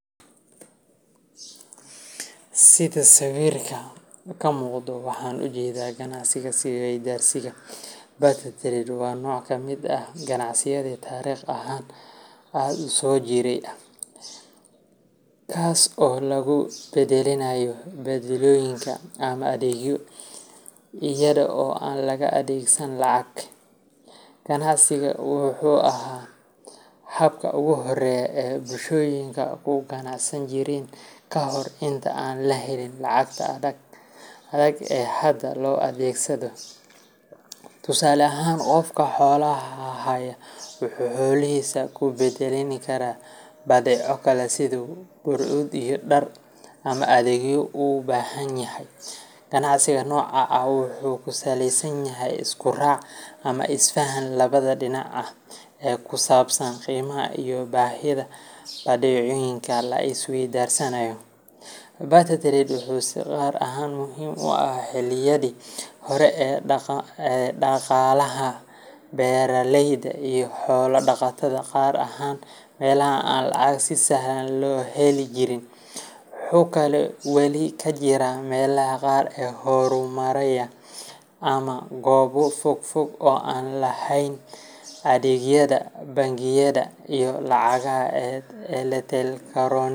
Sidaa sawirka kamuqata ,waxan u jedaa . Ganacsiga is weydaarsiga barter trade waa nooc ka mid ah ganacsiga taariikh ahaan aad u soo jireen ah, kaas oo lagu beddelanayo badeecooyin ama adeegyo iyada oo aan la adeegsan lacag. Ganacsigan wuxuu ahaa habka ugu horreeya ee bulshooyinku ku ganacsan jireen ka hor intii aan la helin lacagta adag ee hadda loo adeegsado. Tusaale ahaan, qofka xoolaha haya wuxuu xoolihiisa ku beddeli karaa badeeco kale sida hadhuudh, dhar, ama adeegyo uu u baahan yahay. Ganacsiga noocan ah wuxuu ku saleysan yahay isku raac ama isfaham labada dhinac ah ee ku saabsan qiimaha iyo baahida badeecooyinka la is weydaarsanayo. Barter trade wuxuu si gaar ah muhiim u ahaa xilliyadii hore ee dhaqaalaha beeraleyda iyo xoolo dhaqatada, gaar ahaan meelaha aan lacag si sahlan loo heli jirin. Wuxuu kaloo weli ka jiraa meelaha qaar ee horumaraya ama goobo fogfog oo aan lahayn adeegyada bangiyada iyo lacagaha.